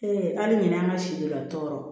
hali ɲinan ka si don a tɔɔrɔ